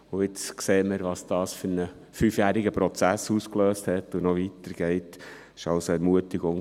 Jetzt sehen wir, welchen fünfjährigen Prozess, der noch weitergeht, dies ausgelöst hat.